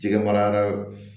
Jɛgɛ mara